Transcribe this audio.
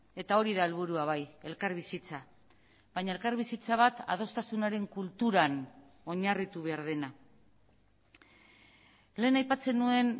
eta hori da helburua bai elkarbizitza baina elkarbizitza bat adostasunaren kulturan oinarritu behar dena lehen aipatzen nuen